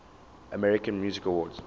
american music awards